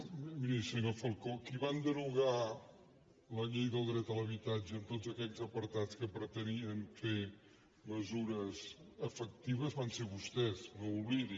no miri senyor falcó qui va derogar la llei del dret a l’habitatge amb tots aquells apartats que pretenien fer mesures efectives van ser vostès no ho oblidi